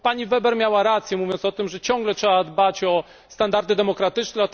Pani Weber miała rację, mówiąc o tym, że ciągle trzeba dbać o standardy demokratyczne.